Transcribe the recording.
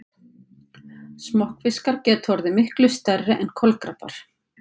Smokkfiskar geta orðið miklu stærri en kolkrabbar.